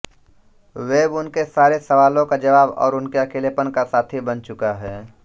web उनके सारे सवालों का जवाब और उनके अकेलेपन का साथी बन चुका है